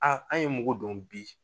A an ye mugu dɔn bi.